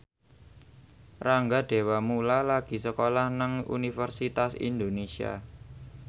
Rangga Dewamoela lagi sekolah nang Universitas Indonesia